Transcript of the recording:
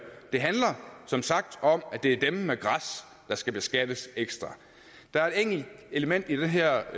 handler som sagt om at det er dem med græs der skal beskattes ekstra der er et enkelt element i det her